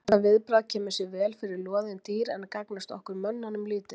Hvað með þá sem koma í ráðgjöf til að öðlast dyggðugra líferni?